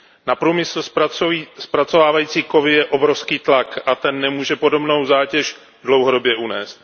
Na průmysl zpracovávající kovy je obrovský tlak a ten nemůže podobnou zátěž dlouhodobě unést.